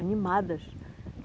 Animadas.